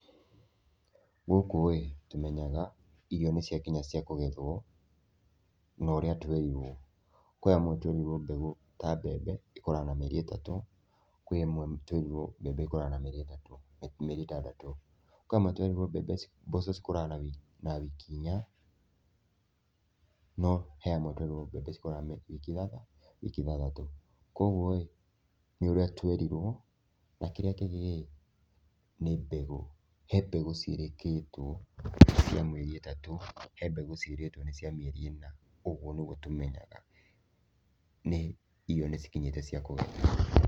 Gũkũĩ, tũmenyaga irio nĩ ciakinya cia kũgethwo na ũrĩa twerirwo, kũrĩ amwe twerirwo mbegũ ta mbembe ĩkũraga na mĩeri ĩtatũ, kwĩ amwe twerirwo mbembe ĩkũraga na mĩeri itatũ mĩeri ĩtandatũ, kwĩ amwe twerirwo mbembe mboco cikũraga na wiki na wiki inya no he amwe twerirwo mbembe cikũraga na wiki ithatha ithathatũ, koguoĩ, nĩ ũrĩa twerirwo, na kĩrĩa kĩngĩ rĩ, nĩ mbegũ, he mbegũ ciĩrĩkĩtwo cia mĩeri itatũ, he mbegũ ciĩrĩtwo nĩ cia mĩeri ĩna, ũguo nĩguo tũmenyaga nĩ irio nĩ cikinyĩte cia kũgethwo.